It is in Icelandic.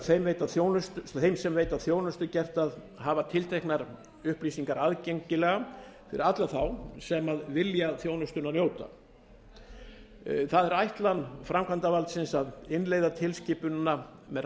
þeim sem veita þjónustu gert að hafa tilteknar upplýsingar aðgengilegar fyrir alla þá sem vilja þjónustunnar njóta það er ætlan framkvæmdarvaldsins að innleiða tilskipunina með